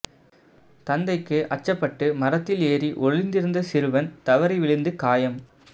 தந்தைக்கு அச்சப்பட்டு மரத்தில் ஏறி ஒழிந்திருந்த சிறுவன் தவறி விழுந்து காயம்